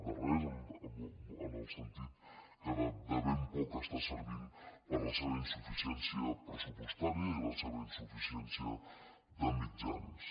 de res en el sentit que de ben poc serveix per la seva insuficiència pressupostària i la seva insuficiència de mitjans